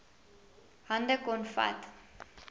hande kon vat